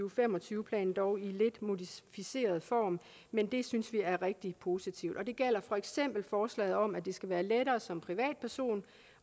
og fem og tyve planen dog i lidt modificeret form men det synes vi er rigtig positivt det gælder for eksempel forslaget om at det skal være lettere som privatperson